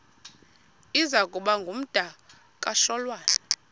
iza kuba ngumdakasholwana